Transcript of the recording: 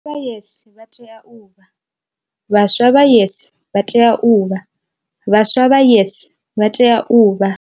Vha YES vha tea u vha. Vhaswa vha YES vha tea u vha. Vhaswa vha YES vha tea u vha.